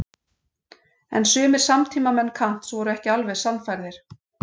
En sumir samtímamenn Kants voru ekki alveg sannfærðir.